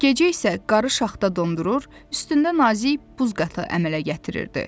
Gecə isə qarı şaxta dondurur, üstündə nazik buz qatı əmələ gətirirdi.